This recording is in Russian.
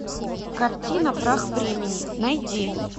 картина прах времени найди